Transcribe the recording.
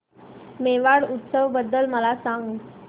मेवाड उत्सव बद्दल मला सांग